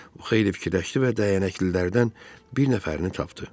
O xeyli fikirləşdi və dəyənəklilərdən bir nəfərini tapdı.